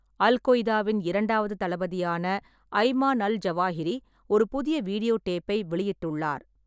அல்-கொய்தாவின் இரண்டாவது தளபதியான Ayman al Zawahiri ஒரு புதிய வீடியோ டேப்பை வெளியிட்டுள்ளார்.